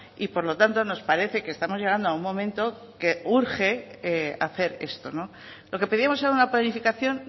y por lo tanto nos parece que estamos llegando a un momento que urge hacer esto lo que pedimos era una planificación